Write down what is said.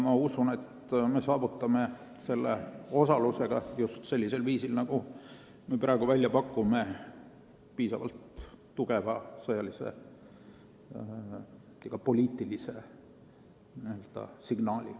Ma usun, et me anname oma osalusega just sellisel viisil, nagu me praegu välja pakume, piisavalt tugeva sõjalise ja poliitilise signaali.